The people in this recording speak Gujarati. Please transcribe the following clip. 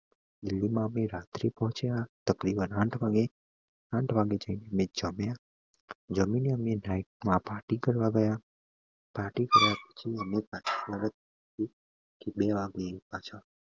પોહ્ચ્યા આંઠ વાગે અમે જમ્યા જમી ને અમે party કરવા ગયા party કર્યા પછી અમે બે વાગે